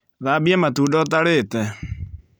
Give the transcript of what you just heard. Thambia matunda ũtarĩte